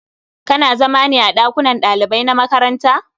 Kana zama ne a ɗakunan ɗalibai na makaranta?